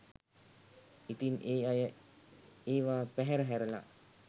ඉතින් ඒ අය ඒවා පැහැර හැරලා